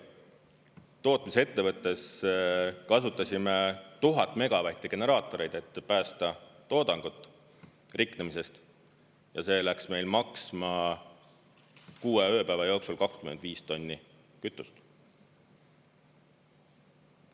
Tootmisettevõttes kasutasime 1000 megavatti generaatoreid, et päästa toodangut riknemisest, ja see läks meil maksma kuue ööpäeva jooksul 25 tonni kütust.